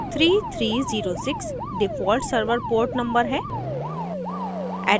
3306 default server port number है